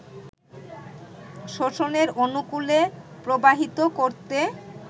শোষণের অনুকূলে প্রবাহিত করতে